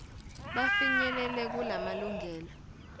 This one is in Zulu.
bafi nyelele kumalungelo